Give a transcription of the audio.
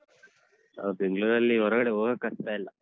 ಹ ಬೆಂಗಳೂರಲ್ಲಿ ಹೊರಗಡೆ ಹೋಗಕ್ಕಾಗ್ತಾ ಇಲ್ಲ.